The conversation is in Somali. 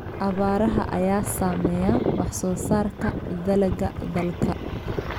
Abaaraha ayaa saameeya wax soo saarka dalagga dalka.